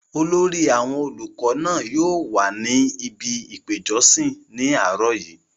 olórí àwọn olùkọ náà yóò wà ní ibi ìpéjọsí ní àárọ̀ yìí